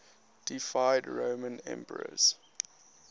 deified roman emperors